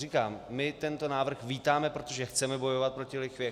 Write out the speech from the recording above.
Říkám, my tento návrh vítáme, protože chceme bojovat proti lichvě.